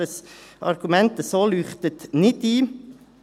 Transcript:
Dieses Argument leuchtet also nicht ein.